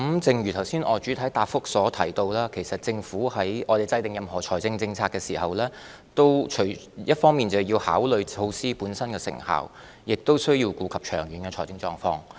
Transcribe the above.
正如我剛才在主體答覆中提到，其實政府在制訂任何財政政策時，一方面須考慮措施本身的成效，亦須顧及長遠的財政狀況。